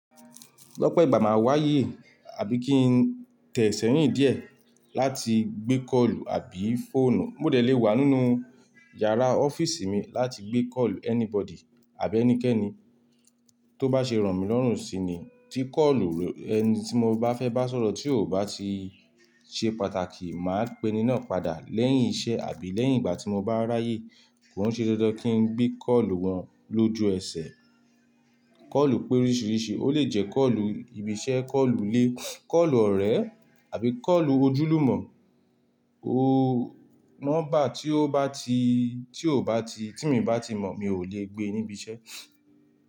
Gbọ́pẹ́ ìgbà màá wá yìí àbí kí n tẹ̀ sẹ́rìndí ẹ̀, láti gbé kọ́ọ̀lù àbí fóọ̀nù. Mọ̀ délé wà nínú yàrá ọ́fíìsì mi láti gbé kọ́ọ̀lù anybody àbí ẹnikẹ́ni tó bá ṣe ràn mí lọ́rùn si ni. Ti kọ́ọ̀lù ẹni tí mo bá fẹ́ bá sọ̀rọ̀ tí ò bá ti ṣe pàtàkì, màá pẹ́ni náà padà lẹ́yìn iṣẹ́ àbí lẹ́yìn ìgbà tí mo bá ráyé. Kò ṣe dandan kí n gbé kọ́ọ̀lù wọn lójú eṣẹ̀. Kọ́ọ̀lù péríṣíríṣì, ó lè jẹ́ kọ́ọ̀lù ibi-iṣẹ́, kọ́ọ̀lù ilé, kọ́ọ̀lù ọ̀rẹ́ àbí kọ́ọ̀lù ojúlùmọ̀. O mọ́ bá tí ó bá tí, tí ò bá tí, tí mọ̀ bá ti mọ̀ mi ò le gbé níbi iṣẹ́.